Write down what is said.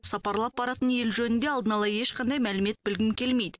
сапарлап баратын ел жөнінде алдын ала ешқандай мәлімет білгім келмейді